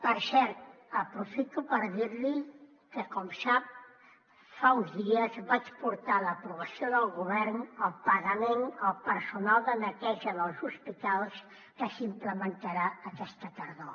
per cert aprofito per dir li que com sap fa uns dies vaig portar a l’aprovació del govern el pagament al personal de neteja dels hospitals que s’implementarà aquesta tardor